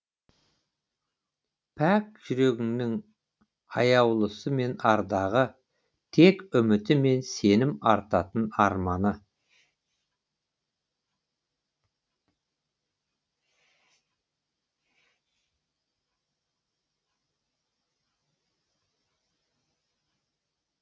пәк жүрегіңнің аяулысы мен ардағы тек үміті мен сенім артатын арманы